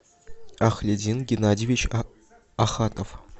ахлидин геннадьевич ахатов